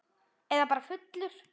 Eða bara fullur.